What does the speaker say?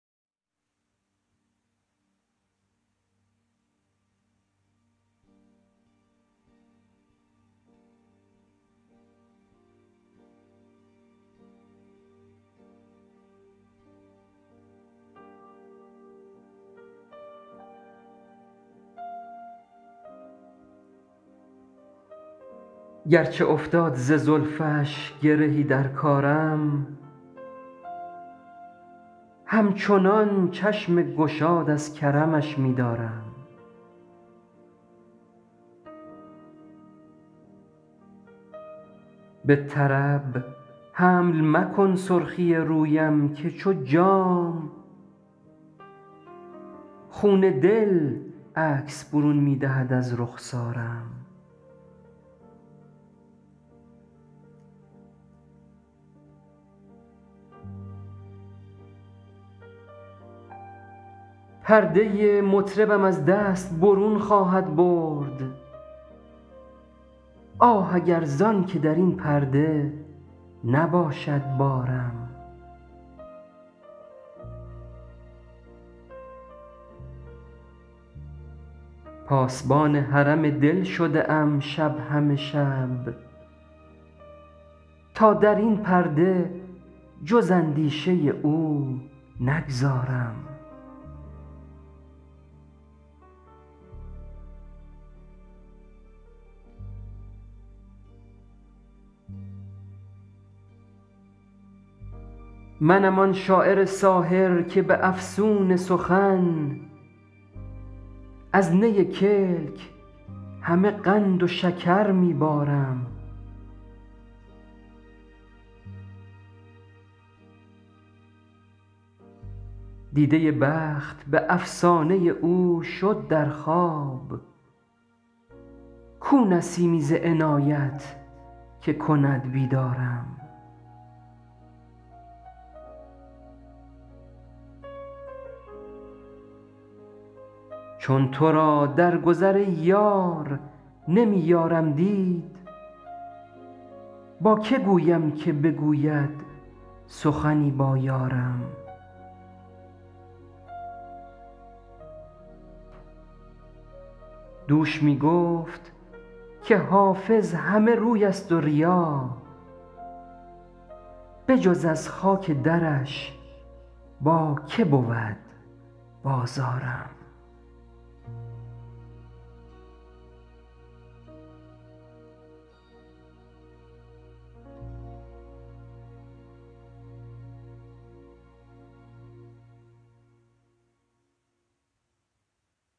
گرچه افتاد ز زلفش گرهی در کارم همچنان چشم گشاد از کرمش می دارم به طرب حمل مکن سرخی رویم که چو جام خون دل عکس برون می دهد از رخسارم پرده مطربم از دست برون خواهد برد آه اگر زان که در این پرده نباشد بارم پاسبان حرم دل شده ام شب همه شب تا در این پرده جز اندیشه او نگذارم منم آن شاعر ساحر که به افسون سخن از نی کلک همه قند و شکر می بارم دیده بخت به افسانه او شد در خواب کو نسیمی ز عنایت که کند بیدارم چون تو را در گذر ای یار نمی یارم دید با که گویم که بگوید سخنی با یارم دوش می گفت که حافظ همه روی است و ریا بجز از خاک درش با که بود بازارم